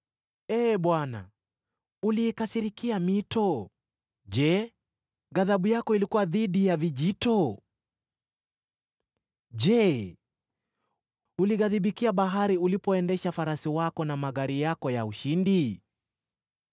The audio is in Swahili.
Ee Bwana , uliikasirikia mito? Je, ghadhabu yako ilikuwa dhidi ya vijito? Je, ulighadhibikia bahari ulipoendesha farasi wako na magari yako ya ushindi?